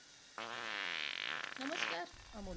नमस्कार अमोल!